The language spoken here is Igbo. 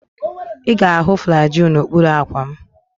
Ị ga-ahụ Flagyl n'okpuru akwa m.